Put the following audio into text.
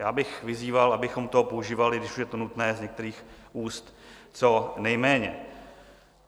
Já bych vyzýval, abychom to používali, když už je to nutné z některých úst, co nejméně.